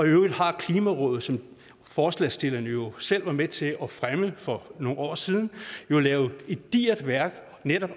øvrigt har klimarådet som forslagsstillerne jo selv var med til at fremme for nogle år siden lavet et digert værk